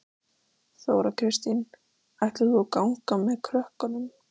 Þóra Kristín: Ætlar þú að ganga með krökkunum?